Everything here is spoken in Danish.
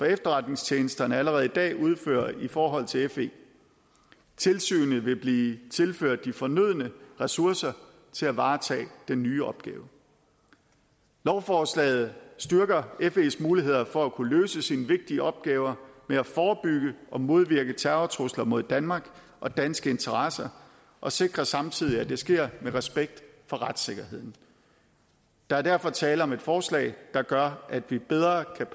efterretningstjenesterne allerede i dag udfører i forhold til fe tilsynet vil blive tilført de fornødne ressourcer til at varetage den nye opgave lovforslaget styrker fes muligheder for at kunne løse de vigtige opgaver med at forebygge og modvirke terrortrusler mod danmark og danske interesser og sikrer samtidig at det sker med respekt for retssikkerheden der er derfor tale om et forslag der gør at vi bedre kan